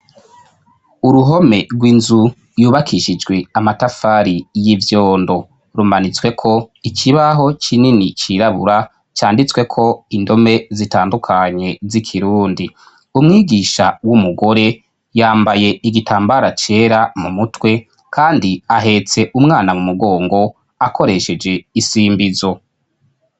Uruhome rw'inzu yubakishijwe amatafari y'ivyondo rumanitsweko ikibaho kinini cirabura canditsweko indome zitandukanye z'ikirundi, umwigisha w'umugore yambaye igitambara cera mu mutwe kandi ahetse umwana mu mugongo akoresheje isimbizo.